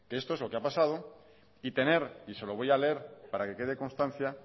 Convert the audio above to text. esto es lo que ha pasado y tener y se lo voy a leer para que quede constancia